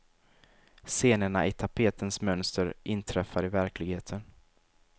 Scenerna i tapetens mönster inträffar i verkligheten.